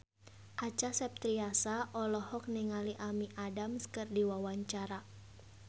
Acha Septriasa olohok ningali Amy Adams keur diwawancara